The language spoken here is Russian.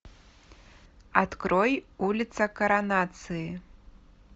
открой улица коронации